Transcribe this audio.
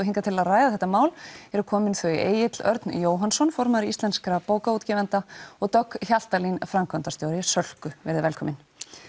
hingað til að ræða þetta mál eru komin þau Egill Örn Jóhannsson formaður íslenskra bókaútgefenda og Dögg Hjaltalín framkvæmdastjóri Sölku verið velkomin